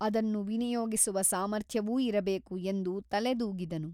ಅದನ್ನು ವಿನಿಯೋಗಿಸುವ ಸಾಮರ್ಥ್ಯವೂ ಇರಬೇಕು ಎಂದು ತಲೆದೂಗಿದನು.